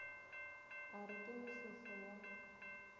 a re ke mehlehlo ya